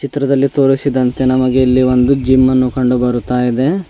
ಚಿತ್ರದಲ್ಲಿ ತೋರಿಸಿದಂತೆ ನಮಗೆ ಇಲ್ಲಿ ಒಂದು ಜಿಮ್ ಅನ್ನು ಕಂಡು ಬರುತಾ ಇದೆ.